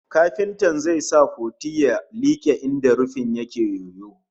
Kafintan zai sa puti ya like inda rufin yake yoyo